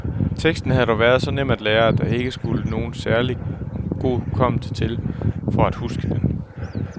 Teksten havde dog været så nem at lære, at der ikke skulle nogen særlig god hukommelse til for at huske den.